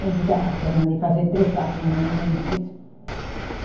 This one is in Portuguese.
Eu digo, ah, já mandei fazer três carta, não vem nem notícia.